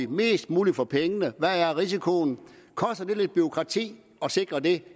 mest muligt for pengene hvad er risikoen koster det lidt bureaukrati at sikre det